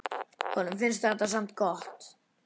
Honum finnst þetta samt gott.